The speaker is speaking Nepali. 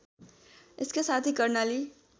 यसका साथै कर्णाली